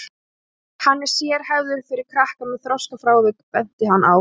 Hann er sérhæfður fyrir krakka með þroskafrávik, benti hann á.